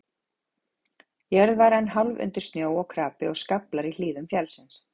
Jörð var enn hálf undir snjó og krapi, og skaflar í hlíðum fjallsins.